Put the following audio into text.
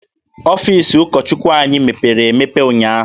Ọfiisi ụkọ Chukwu anyị mepere emepe ụnyaahụ.